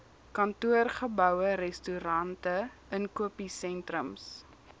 kantoorgeboue restaurante inkopiesentrums